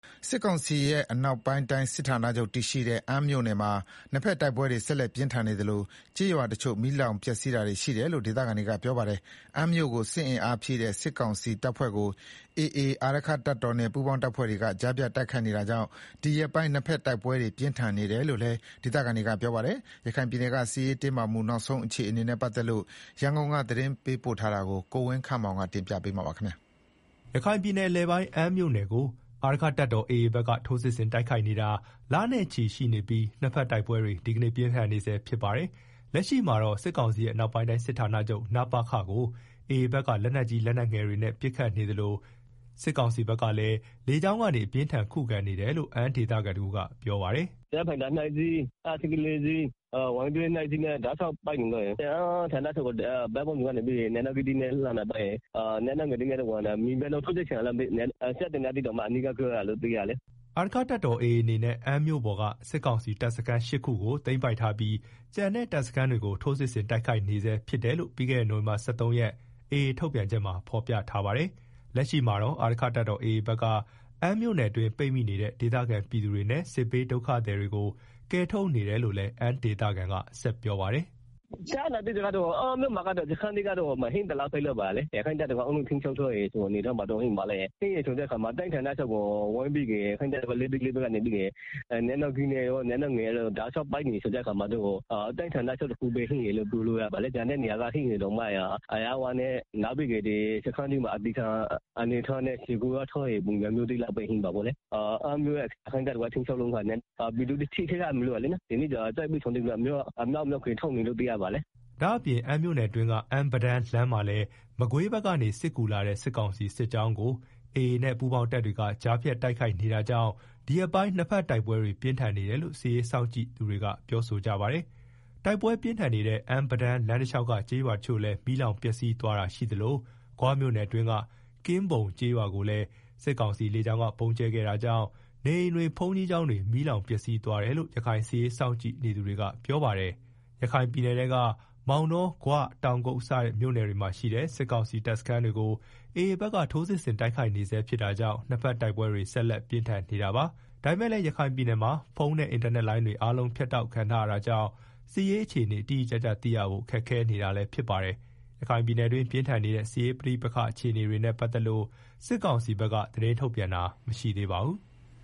စစ်ကောင်စီရဲ့ အနောက်ပိုင်းတိုင်း စစ်ဌာနချုပ်တည်ရှိတဲ့ အမ်းမြို့နယ်မှာ နှစ်ဘက်တိုက်ပွဲတွေ ဆက်လက်ပြင်းထန်နေသလို ကျေးရွာတချို့ မီးလောင်ပျက်စီးနေတယ်လို့ဒေသခံတွေကပြောပါတယ်။ အမ်းမြို့ကို စစ်အင်အားဖြည့်တဲ့ စစ်ကောင်စီတပ်ဖွဲ့ကို AA အာရက္ခတပ်တော်နဲ့ ပူးပေါင်းအဖွဲ့တွေက ကြားဖြတ်တိုက်ခိုက်နေတာကြောင့် ဒီရက်ပိုင်း နှစ်ဘက်တိုက်ပွဲတွေ ပြင်းထန်နေတယ်လို့လည်း ဒေသခံတွေက ပြောပါတယ်။ ရခိုင်ပြည်နယ်က စစ်ရေးတင်းမာမှုနောက်ဆုံးအခြေအနေတွေ ရန်ကုန်က သတင်းပေးပို့ထားတာကို ကိုဝင်းခန့်မောင် တင်ပြထားပါတယ်။ ရခိုင်ပြည်နယ် အလယ်ပိုင်းအမ်းမြို့နယ်ကို အာရက္ခတပ်တော်AAဘက်က ထိုးစစ်ဆင်တိုက်ခိုက်နေတာ လနဲ့ချီရှိနေပြီးနှစ်ဘက်တိုက်ပွဲတွေ ဒီကနေ့ပြင်းထန်နေဆဲဖြစ်ပါတယ်။ လက်ရှိမှာတော့ စစ်ကောင်စီရဲ့ အနောက်ပိုင်းတိုင်းစစ်ဌာနချုပ် နပခ ကို AAဘက်က လက်နက်ကြီး လက်နက်ငယ်တွေနဲ့ ပစ်ခတ်နေသလို စစ်ကောင်စီဘက်ကလည်းလေကြောင်းကနေ အပြင်းအထန်ပစ်ခတ်နေတယ်လို့ အမ်းဒေသခံတဦးက ရခိုင်ဘာသာနဲ့ အခုလိုပြောပါတယ်။ “ဒီကနေ့က ဂျက်ဖိုက်တာနှစ်စီး၊ ဟတ်စကီး ၄ စီး၊ Y12 နှစ်စီးနဲ့ တောက်လျှောက်ပစ်နေတာ၊ AA ဘက် ကတော့ အမ်းဌာနချုပ်ကို နေရာပေါင်းစုံက လက်နက်ကြီးတွေနဲ့လှမ်းပစ်တယ်။ လက်နယ်ငယ်တွေနဲ့ လည်း ပစ်တယ်။ အခုက မြေပြင်တောင် ထိုးစစ်ဆင်နေပြီလားမသိဘူး။ စက်သေနတ်သံတွေတောင် ကြားရတယ်လို့ သိရတယ်။” အာရက္ခတပ်တော် AA အနေနဲ့ အမ်းမြို့ပေါ်က စစ်ကောင်စီတပ်စခန်း ၈ ခုကို သိမ်းပိုက်ထားပြီး ကျန်တဲ့ တပ်စခန်းတွေကို ထိုးစစ်ဆင်တိုက်ခိုက်နေဆဲဖြစ်တယ်လို့ ပြီးခဲ့တဲ့ နိုဝင်ဘာလ ၁၃ ရက်နေ့ AA ထုတ်ပြန်ချက်မှာ ဖော်ပြထားပါတယ်။ လက်ရှိမှာတော့ အာရက္ခတပ်တော် AA ဘက်က အမ်းမြို့ထဲမှာ ပိတ်မိနေတဲ့ ဒေသခံပြည်သူတွေနဲ့ စစ်ဘေးဒုက္ခသည်တွေကို ကယ်ထုတ်နေတယ်လို့လည်း သူက ဆက်ပြောပါတယ်။ “အမ်းမြို့မှာ စခန်းတွေကတော့ မရှိသလောက် ဖြစ်သွားပြီလေ။ အာရက္ခတပ်တော်က အားလုံးကို ထိန်းချုပ်ထားတဲ့အနေအထားရှိတယ်ဆိုတော့ လက်ရှိမှာလည်း တိုင်းဌာနချုပ်ကို လက်နက်ကြီး လက်နက်ငယ်တွေနဲ့ ပစ်နေတာဆိုတော့တိုင်းဌာနချုပ်တခုပဲ ကျန်တော့တယ်လို့ ပြောလို့ရတယ်။ ကျန်တဲ့နေရာတွေက ရှိတယ်ဆိုရင်တောင် စခန်းတွေမှာအသေခံထားတဲ့ လူ ဆယ်ယောက် ကိုး ယောက် လောက်ပဲရှိတဲ့သဘောဗျာ။ အမ်းမြို့ကို ရခိုင့်တပ်တော်ကထိန်းချုပ်ရင်ပြည်သူတွေထိ ခိုက်မှာစိုးရိမ်တာကြောင့် စစ်ဘေးဒုက္ခသည်တွေကို ကယ်ထုတ်နေတယ်လို့သိရတယ်။” ဒါ့အပြင် အမ်းမြို့နယ်အတွင်းက အမ်း-ပဒန်းလမ်းမှာလည်း မကွေးဘက်ကနေ စစ်ကူလာတဲ့ စစ်ကောင်စီစစ်ကြောင်းကိုအာရက္ခတပ်တော်နဲ့ ပူးပေါင်းတပ်တွေက ကြားဖြတ်တိုက်ခိုက်နေ တာကြောင့် ဒီရက်ပိုင်းနှစ်ဘက်တိုက်ပွဲတွေပြင်းထန်နေတယ်လို့ စစ်ရေးစောင့်ကြည့်သူတွေ ကပြောဆိုကြပါတယ်။ တိုက်ပွဲ ပြင်းထန်နေတဲ့ အမ်း-ပဒန်းလမ်းတလျောက်က ကျေးရွာတချို့လည်း မီးလောင်ပျက်စီးသွား တာရှိသလို ဂွမြို့နယ်အတွင်းက ကင်းဘုံကျေးရွာကိုလည်း စစ်ကောင်စီလေကြောင်းက ဗုံးကြဲခဲ့ တာကြောင့် နေအိမ်တွေ ဘုန်ကြီးကျောင်းတွေ မီးလောင်ပျက်စီးသွားတယ်လို့ ရခိုင်စစ်ရေး စောင့်ကြည့်နေသူတွေကပြောပါတယ်။ ရခိုင်ပြည်နယ်က မောင်တော၊ ဂွ၊ တောင်ကုတ် စတဲ့ မြို့နယ်တွေမှာ ရှိတဲ့ စစ်ကောင်စီတပ်စခန်းတွေကို AA ဘက်ကထိုးစစ်ဆင်တိုက်ခိုက်နေဆဲဖြစ်တာကြောင့် နှစ်ဘက်တိုက်ပွဲတွေ ဆက်လက်ပြင်းထန်နေ တာပါ။ ဒါပေမယ့်လည်းရခိုင်ပြည်နယ်မှာ ဖုန်းနဲ့ အင်တာနက်လိုင်းအားလုံး ဖြတ်တောက်ခံထားရ တာကြောင့် စစ်ရေးအခြေအနေတိတိကျကျသိရဖို့ ခက်ခဲနေပါတယ်။ ရခိုင်ပြည်နယ်တွင်း ပြင်းထန်တဲ့ စစ်ရေးပဋိပက္ခအခြေအနေတွေနဲ့ပတ်သက်လို့ စစ်ကောင်စီဘက်က သတင်းထုတ်ပြန်တာ မရှိသေးပါဘူး။